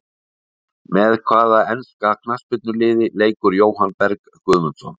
Með hvaða enska knattspyrnuliði leikur Jóhann Berg Guðmundsson?